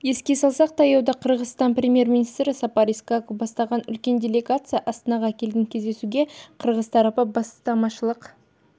еске салсақ таяуда қырғызстан премьер-министрі сапар исаков бастаған үлкен делегация астанаға келген кездесуге қырғыз тарапы бастамашылық